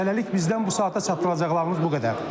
Hələlik bizdən bu saata çatdıracaqlarımız bu qədər.